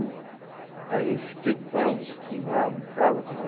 Aí eu fiquei com ela um pouquinho lá, brincava com ela.